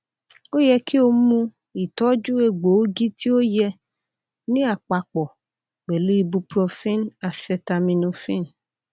o yẹ ki o mu itọju egboogi ti o yẹ ni apapo pẹlu ibuprofen acetaminophen